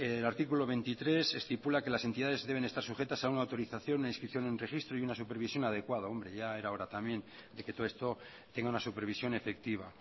el artículo veintitrés estipula que las entidades deben estar sujetas a una autorización una inscripción y un registro y una supervisión adecuada ya era hora también de que todo esto tenga una supervisión efectiva